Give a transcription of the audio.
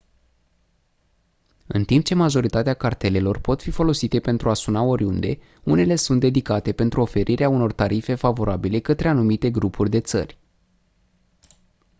în timp ce majoritatea cartelelor pot fi folosite pentru a suna oriunde unele sunt dedicate pentru oferirea unor tarife favorabile către anumite grupuri de țări